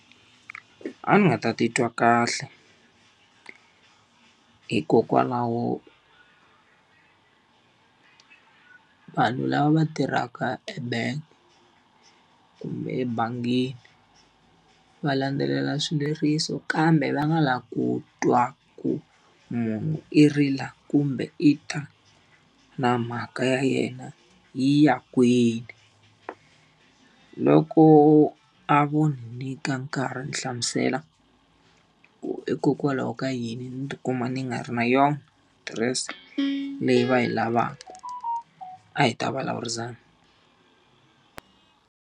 A ni nga ta titwa kahle hikokwalaho vanhu lava va tirhaka ebank kumbe ebangini, va landzelela swileriso kambe va nga lavi ku twa ku munhu i rila kumbe i ta na mhaka ya yena yi ya kwini. Loko a vo ni nyika nkarhi ni hlamusela ku hikokwalaho ka yini ni ti kuma ni nga ri na yona adirese leyi va yi lavaka, a hi ta vulavurisana.